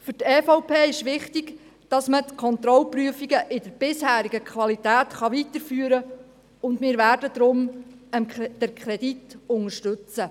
Für die EVP ist es wichtig, dass man die Kontrollprüfungen in der bisherigen Qualität weiterführen kann, und wir werden den Kredit deswegen unterstützen.